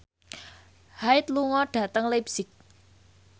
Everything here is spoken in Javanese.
Hyde lunga dhateng leipzig